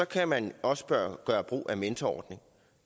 kan man også gøre gøre brug af mentorordningen